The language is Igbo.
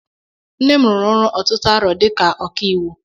Nne m rụrụ ọrụ ọtụtụ arọ dika ọkàiwu.